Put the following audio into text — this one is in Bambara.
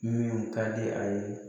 Min ka di a ye